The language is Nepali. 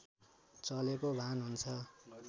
चलेको भान हुन्छ